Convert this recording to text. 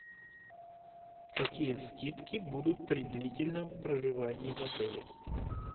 какие скидки будут при длительном проживании в отеле